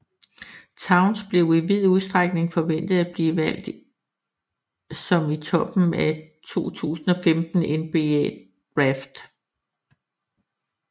Towns blev i vid udstrækning forventet at blive valgt som i toppen af 2015 NBA draft